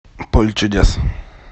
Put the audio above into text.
поле чудес